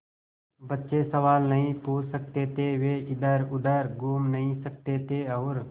बच्चे सवाल नहीं पूछ सकते थे वे इधरउधर घूम नहीं सकते थे और